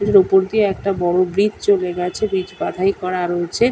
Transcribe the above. উপর দিয়ে একটা বড়ো ব্রিজ চলে গেছে। ব্রিজ বাধাই করা রয়েছে।